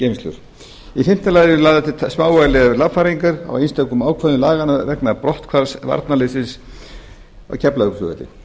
afgreiðslugeymslur í fimmta lagi eru lagðar til smávægilegar lagfæringar á einstökum ákvæðum laganna vegna brotthvarfs varnarliðsins á keflavíkurflugvelli